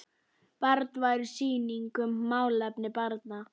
Barnvæn sýning um málefni barna.